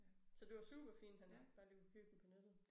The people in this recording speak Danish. Så det var superfint han bare lige kunne købe dem på nettet